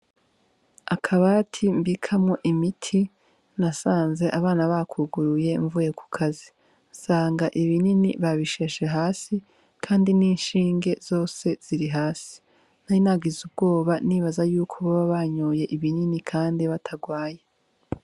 Akabati mbikamwo imiti nasanze abana bakuguruye mvuye ku kazi nsanga ibinini babisheshe hasi kandi n'ishinge zose ziri hasi, Nari nagize ubwoba nibaza yuko boba banyoye ibinini kandi batarwaye.